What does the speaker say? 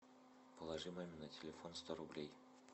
положи маме на телефон сто рублей